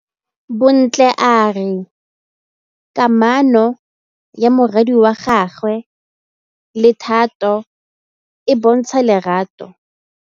Bontle a re kamanô ya morwadi wa gagwe le Thato e bontsha lerato.